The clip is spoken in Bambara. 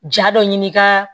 Ja dɔ ɲini ka